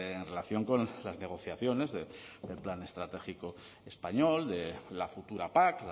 en relación con las negociaciones del plan estratégico español de la futura pac